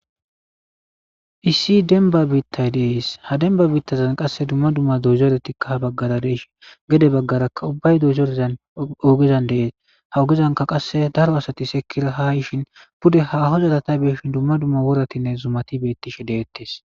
issi denba biittay dees ha denba biittazan qasse dumma dumma dozoretikka ha baggara deeshi gede baggarakka ubbay dozorezan oogezan deees ha ogezanka qasse daro asati sekira ha yishin bude haho zaratay beeshin dumma dumma woratinne zumati beettishi deettes